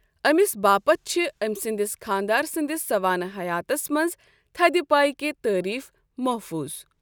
أمِس باپت چھِ امۍ سٕنٛدِس خانٛدار سٕنٛدِس سوانہِ حیاتس منٛز تھدِ پایکۍ تعریٖف محفوُظ ۔